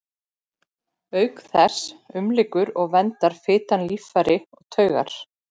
Auk þess umlykur og verndar fitan líffæri og taugar.